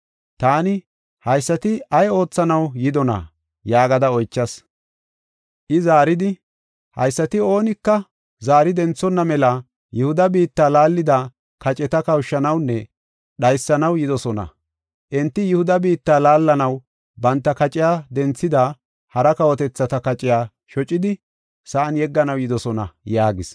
Taani, “Haysati ay oothanaw yidona?” yaagada oychas. I zaaridi, “Haysati oonika zaari denthona mela Yihuda biitta laallida kaceta kawushanawunne dhaysanaw yidosona. Enti Yihuda biitta laallanaw banta kaciya denthida hara kawotethata kaciya shocidi sa7an yegganaw yidosona” yaagis.